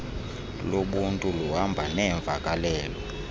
lobuntu luhamba neemvakalelo